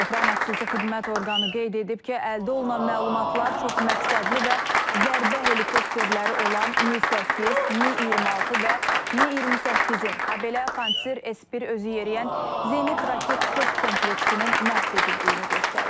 Ukrayna xüsusi xidmət orqanı qeyd edib ki, əldə olunan məlumatlar çoxməqsədli və zərbə helikopterləri olan Mi-8, Mi-26 və Mi-28-in, habelə Panser S-1 özüyeriyən zenit raket top kompleksinin məhv edildiyini göstərir.